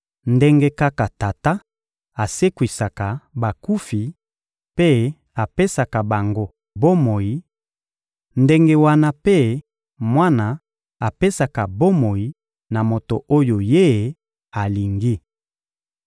Ndenge kaka Tata asekwisaka bakufi mpe apesaka bango bomoi, ndenge wana mpe Mwana apesaka bomoi na moto oyo Ye alingi.